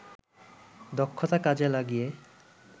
দক্ষতা কাজে লাগিয়ে